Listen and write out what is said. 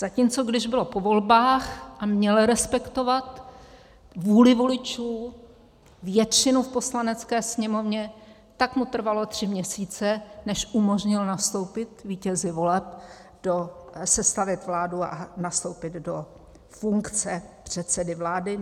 Zatímco když bylo po volbách a měl respektovat vůli voličů, většinu v Poslanecké sněmovně, tak mu trvalo tři měsíce, než umožnil nastoupit vítězi voleb, sestavit vládu a nastoupit do funkce předsedy vlády.